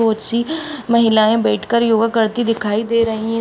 बहोत सी महिलाएं बैठकर योगा करती दिखाई दे रही हैं।